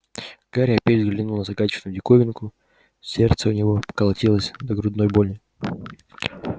гарри опять взглянул на загадочную диковинку сердце у него колотилось до грудной боли